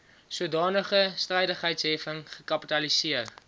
sodanige strydigheidsheffing gekapitaliseer